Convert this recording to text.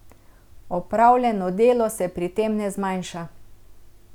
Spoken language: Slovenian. Opravljeno delo se pri tem ne zmanjša.